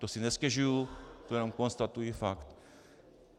To si nestěžuji, to jenom konstatuji fakt.